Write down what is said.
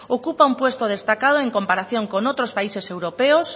ocupa un puesto destacado en comparación con otros países europeos